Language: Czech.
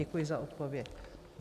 Děkuji za odpověď.